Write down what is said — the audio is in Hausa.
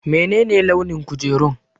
Menene launin kujerun?